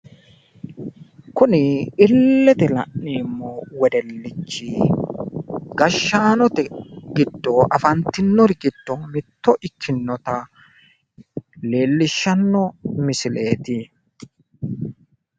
Kuni illete la'neemmo wedellichi Afantinno gashaano giddo mittonna afamino dagate gashaancho ikkasi xawissanno misileeti.